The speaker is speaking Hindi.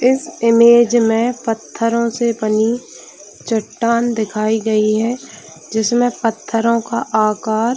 इस इमेज में पत्थरों से बनी चट्टान दखाई गयी है जिसमे पत्थरों का आकार--